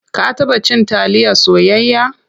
Ka taba cin taliya soyayya?